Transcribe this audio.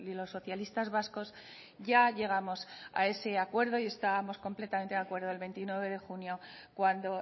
los socialistas vascos ya llegamos a ese acuerdo y estábamos completamente de acuerdo el veintinueve de junio cuando